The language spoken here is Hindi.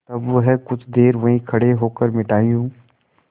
तब वह कुछ देर वहीं खड़े होकर मिठाइयों